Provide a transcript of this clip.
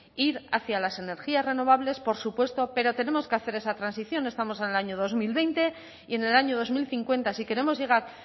ir hacia las energías renovables por supuesto pero tenemos que hacer esa transición estamos en el año dos mil veinte y en el año dos mil cincuenta si queremos llegar